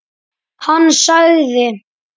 Hann sagði